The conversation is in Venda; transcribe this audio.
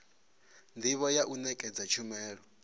ndivho ya u nekedza tshumelo